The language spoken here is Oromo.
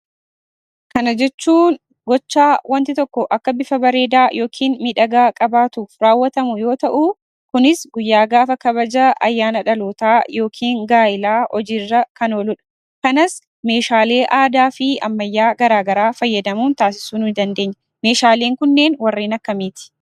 Kana jechuun gochaa wanti tokko akka bifa bareedaa yookiin miidhagaa qabaatuuf raawwatamu yoo ta'uu, kunis guyyaa gaafa kabaja ayyaana dhalootaa yookiin gaa'ilaa hojiirraa kan ooludha. Kanas meeshaalee aadaafi ammayyaa garagaraa fayyadamuun taasisuu ni dandeenya. Meeshaalee kunneen warreen akkamiiti?